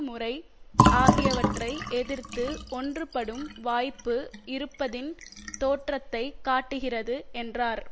முறை ஆகியவற்றை எதிர்த்து ஒன்றுபடும் வாய்ப்பு இருப்பதின் தோற்றத்தை காட்டுகிறது என்றார்